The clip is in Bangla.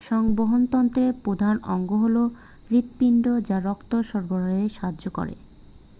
সংবহনতন্ত্রের প্রধান অঙ্গ হল হৃৎপিণ্ড যা রক্ত সরবরাহে সাহায্য করে